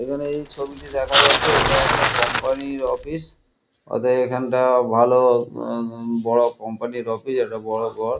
এখানে এই ছবিটি দেখা যাচ্ছে এটা একটা কোম্পনি ইর অফিস অতএব এখানটা ভালো উ- বড় কোম্পনি ইর অফিস একটা বড় ঘর।